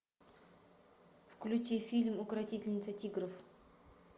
включи фильм укротительница тигров